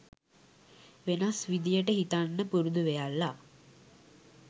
වෙනස් විදියට හිතන්න පුරුදු වෙයල්ලා